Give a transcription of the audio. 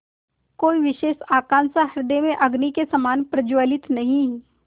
कोई विशेष आकांक्षा हृदय में अग्नि के समान प्रज्वलित नहीं